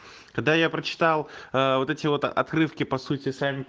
когда я прочитал ээ вот эти вот открытки по сути сами